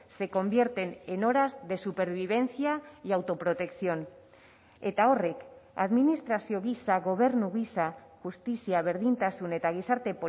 se convierten en horas de supervivencia y autoprotección eta horrek administrazio gisa gobernu gisa justizia berdintasun eta gizarte